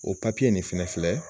O papiye nin fɛnɛ filɛ